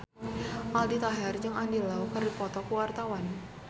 Aldi Taher jeung Andy Lau keur dipoto ku wartawan